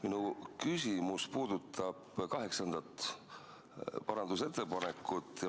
Minu küsimus puudutab 8. parandusettepanekut.